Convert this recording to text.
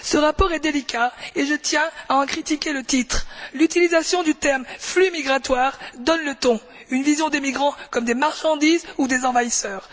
Madame la Présidente, ce rapport est délicat et je tiens à en critiquer le titre. L'utilisation du terme flux migratoire donne le ton une vision des migrants comme des marchandises ou des envahisseurs.